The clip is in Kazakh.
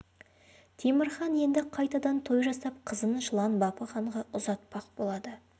темір хан енді қайтадан той жасап қызын жылан бапы ханға ұзатпақ болады